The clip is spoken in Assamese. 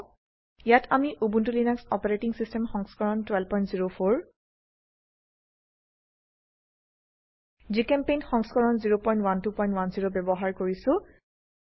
ইয়াত আমি উবুন্টু লিনাক্স অচ সংস্কৰণ 1204 জিচেম্পেইণ্ট সংস্কৰণ 01210 ব্যবহাৰ কৰিছো